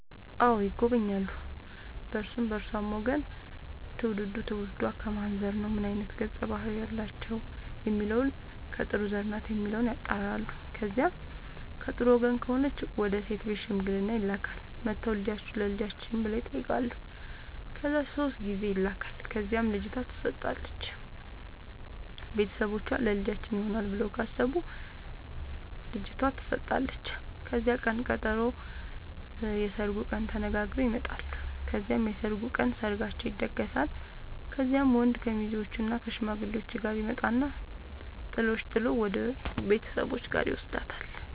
አዎ ይጎበኛሉ በእርሱም በእርሷም ወገን ትውልዱ ትውልዷ ከማን ዘር ነው ምን አይነት ገፀ ባህርያት አላቸው የሚለውን ከጥሩ ዘር ናት የሚለውን ያጣራሉ። ከዚያ ከጥሩ ወገን ከሆነች ወደ ሴት ቤት ሽምግልና ይላካል። መጥተው ልጃችሁን ለልጃችን ብለው ይጠያቃሉ ከዚያ ሶስት ጊዜ ይላካል ከዚያም ልጅቷ ትሰጣለች ቤተሰቦቿ ለልጃችን ይሆናል ብለው ካሰቡ ልጇቷ ተሰጣለች ከዚያም ቅን ቀጠሮ የስርጉን ቀን ተነጋግረው ይመጣሉ ከዚያም የሰርጉ ቀን ሰርጋቸው ይደገሳል። ከዚያም ወንድ ከሙዜዎችእና ከሽማግሌዎቹ ጋር ይመጣና ጥሎሽ ጥል ወደሱ ቤተሰቦች ጋር ይውስዳታል።